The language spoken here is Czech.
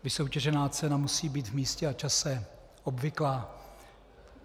"Vysoutěžená cena musí být v místě a čase obvyklá."